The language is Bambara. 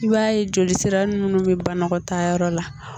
I b'a ye jolisira minnu bi banakɔtaayɔrɔ la